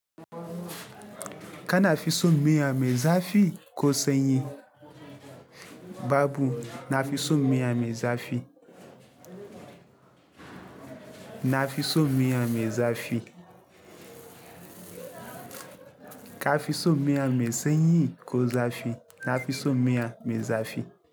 Kana fi so miya mai zafi ko sanyi? Babu, nafi so miya mai zafi. Nafiso miya mai zafi. Ka fi so miya mai sanyi ko zafi? Nafiso miya mai zafi.